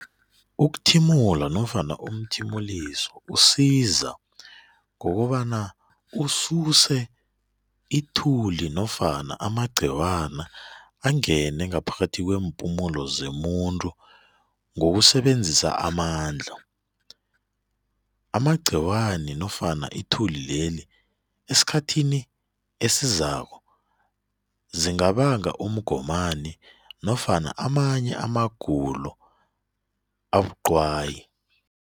Ukuthimula nofana umthimuliso usiza ngokobana ususe ithuli nofana amagciwana angene ngaphakathi kweempumulo zemuntu ngokusebenzisa amandla. Amagciwani nofana ithuli leli esikhathini esizako zingabanga umgomani nofana amanye amagulo abuqwayi.